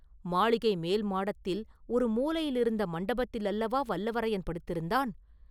மாளிகை மேல்மாடத்தில் ஒரு மூலையிலிருந்த மண்டபத்தில் அல்லவா வல்லவரையன் படுத்திருந்தான்?